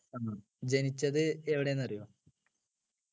ജനിച്ചത് എവിടെയാന്നറിയോ